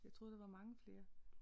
Jeg troede der var mange flere